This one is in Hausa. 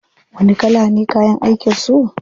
Wani kala ne kayan aikin su?